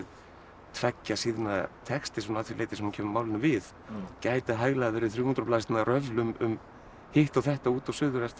tveggja síðna texti svona að því leyti sem hún kemur málinu við gæti hæglega verið þrjú hundruð blaðsíðna röfl um hitt og þetta út og suður eftir